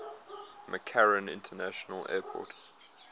mccarran international airport